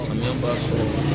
Samiya baara